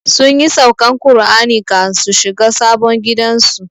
Sunyi saukan Kur'ani kan su shiga sabon gidan su